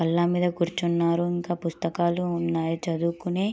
బల్ల మీద కూర్చినారు ఇంకా పుస్తకాలు ఉన్నాయి చదువుకోవడానికి